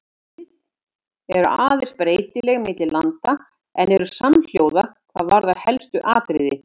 Viðmið eru aðeins breytileg milli landa en eru samhljóða hvað varðar helstu atriði.